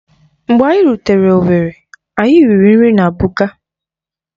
Mgbe anyị rutere owerri, anyị riri nri na Buka.